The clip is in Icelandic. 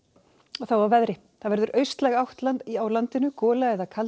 þá að veðri það verður austlæg átt landinu gola eða kaldi